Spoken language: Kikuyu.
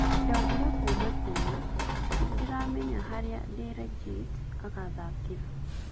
Ndaugire kuuma tene nĩndĩramenya harĩa De Ligt agathakĩra